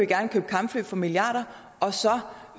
gerne købe kampfly for milliarder og så